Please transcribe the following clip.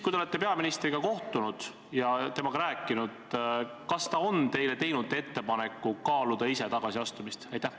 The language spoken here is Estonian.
Kui te olete peaministriga kohtunud ja temaga rääkinud, siis kas ta on teinud teile ettepaneku kaaluda ise tagasiastumist?